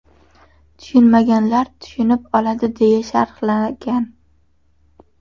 Tushunmaganlar tushunib oladi” deya sharhlagan .